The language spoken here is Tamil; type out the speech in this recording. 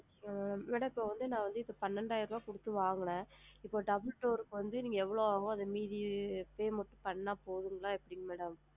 Madam இப்போ வந்து நான் வந்து பன்னிரெண்டாயிரம் குடுத்து வாங்குனேன் இந்த double door க்கு வந்து எவ்வளோ ஆகும் அது மீதி payment பண்ணுனா போதுங்களா அது எப்படிங் madam